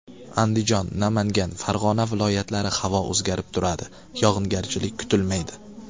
Andijon, Namangan, Farg‘ona viloyatlari Havo o‘zgarib turadi, yog‘ingarchilik kutilmaydi.